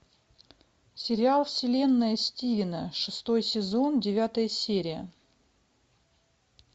сериал вселенная стивена шестой сезон девятая серия